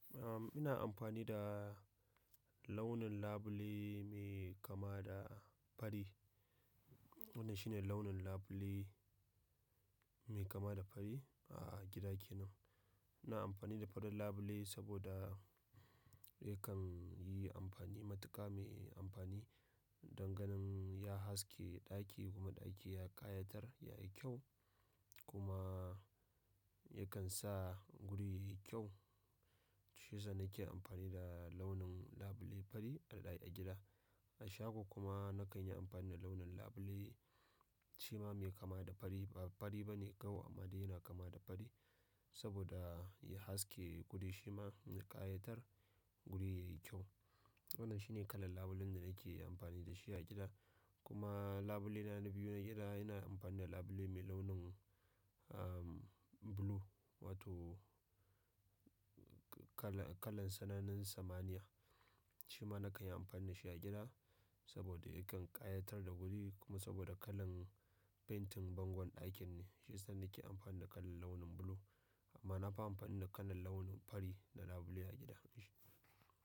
Ahm, ina amfani da launin labule mai kama da fari. Wannan shine launin labule mai kama da fari a gida kenan. Ina amfani da farin labule saboda yakan yi amfani, matuƙa mai amfani. Danganin ya haske ɗaki kuma ɗaki ya ƙayatar yayi kyau kuma yakan sa guri yayi kyau. Shi sa nake amfani da launin labule fari a daɗe a gida. A shago kuma nakan yi amfani da launin labule shi ma mai kama da fari ba fari bane kawai amma dai yana kama da fari saboda ya haske guri shi ma ya ƙayatar guri yayi kyau. Wannan shine kalan labulen da nake amfani da shi a gida. Kuma labule na biyu na gida ina amfani da labule mai launin, ahm, blue wato kala, kalan tsananin samaniya. Shi ma nakan yi amfani da shi a gida saboda yakan ƙayatar da guri kuma saboda kalan fentin bangon ɗakin ne. Shi yasa nake amfani da kalan launin blue amma nafi amfani da kalan launin fari na labule a gida.